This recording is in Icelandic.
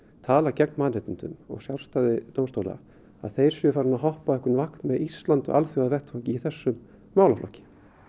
tala gegn mannréttindum og sjálfstæði dómstóla að þau séu farin að hoppa á einhvern vagn með Íslandi á alþjóðavettvangi í þessum málaflokki